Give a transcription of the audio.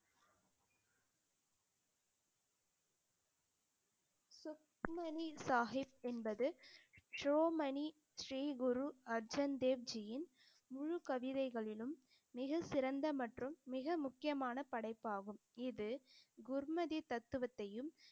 சுக்மணி சாஹிப் என்பது மணி ஸ்ரீ குரு அர்ஜன் தேவ்ஜியின் முழு கவிதைகளிலும் மிகச்சிறந்த மற்றும் மிக முக்கியமான படைப்பாகும் இது குர்மதி தத்துவத்தையும்